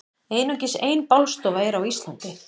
Einungis ein bálstofa er á Íslandi.